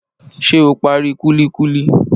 Ṣé o parí kúlíkúlí?